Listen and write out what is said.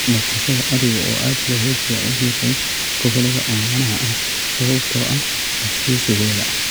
Dhaqashada ariga oo aad looga jecel yahay gobollada oomanaha ah, sababtoo ah adkeysigooda.